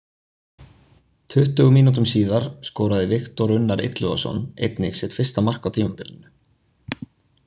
Tuttugu mínútum síðar skoraði Viktor Unnar Illugason einnig sitt fyrsta mark á tímabilinu.